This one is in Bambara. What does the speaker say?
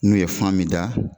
N'u ye fan min da